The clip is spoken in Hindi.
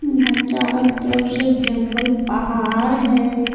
यहां चारों तरफ से जंगल पहार है।